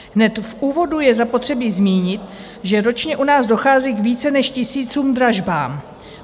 Hned v úvodu je zapotřebí zmínit, že ročně u nás dochází k více než tisícům dražbám.